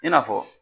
I n'a fɔ